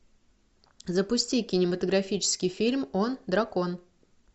запусти кинематографический фильм он дракон